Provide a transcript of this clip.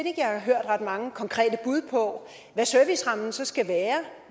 jeg har hørt ret mange konkrete bud på hvad servicerammen så skal være